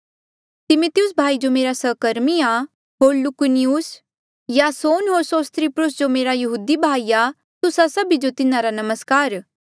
तिमिथियुस भाई जो मेरा सहकर्मी आ होर लूकियुस यासोन होर सोसिपत्रुस जो मेरा यहूदी भाई आ तुस्सा सभी जो तिन्हारा नमस्कार